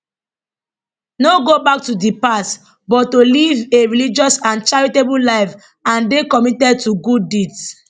no go back to di past but to live a religious and charitable life and dey committed to good deeds